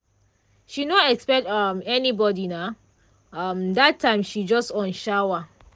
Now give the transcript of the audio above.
she no expect um anybody na um that time she just on shower.